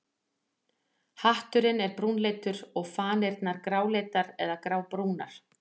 Hatturinn er brúnleitur en fanirnar gráleitar eða grábrúnar.